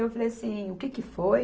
Eu falei assim, o que que foi?